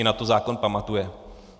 I na to zákon pamatuje.